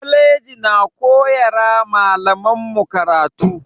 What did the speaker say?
Kwalaji na koyara malaman mu karatu